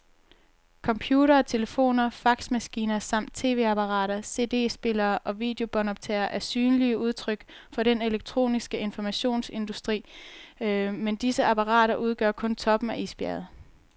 Computere, telefoner og faxmaskiner samt tv-apparater, cd-spillere og videobåndoptagere er synlige udtryk for den elektroniske informationsindustri, men disse apparater udgør kun toppen af isbjerget.